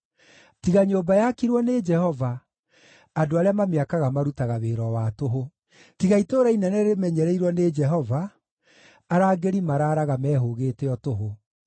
Tiga nyũmba yakirwo nĩ Jehova, andũ arĩa mamĩakaga marutaga wĩra o wa tũhũ. Tiga itũũra inene rĩmenyereirwo nĩ Jehova, arangĩri maraaraga mehũũgĩte o tũhũ.